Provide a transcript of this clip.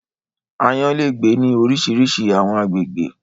Ààyan lé gbe ni orisirisi àwọn àgbégbè